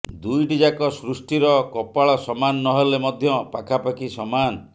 ଦୁଇଟିଯାକ ସୃଷ୍ଟିର କପାଳ ସମାନ ନହେଲେ ମଧ୍ୟ ପାଖାପାଖି ସମାନ